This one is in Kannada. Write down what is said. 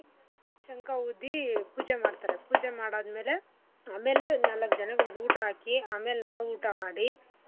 ಶಂಖ ಊದಿ ಪೂಜೆ ಮಾಡ್ತರೆ ಪೂಜೆ ಮಾಡಾದ್ಮೇಲೆ ಆಮೇಲೆ ಎಳ್ನೀರು ನಾಲಕ್ಕು ಜನಗಳಿಗ್ ಊಟ ಹಾಕಿ ಆಮೇಲೆ ನಾವು ಊಟ ಮಾಡೀ.